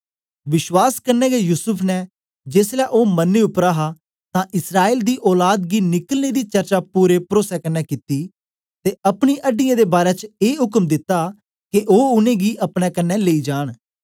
विश्वास कन्ने गै युसूफ ने जेसलै ओ मरने उपर हा तां इस्राएल दी औलाद गी निकलने दी चर्चा पूरे परोसे कन्ने कित्ती ते अपनी अड्डीयें दे बारै च ए उक्म दित्ता के ओ उनेंगी अपने कन्ने लेई जान